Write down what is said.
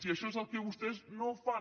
i això és el que vostès no fan